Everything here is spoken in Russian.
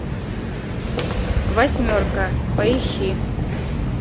восьмерка поищи